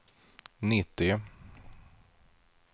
nittio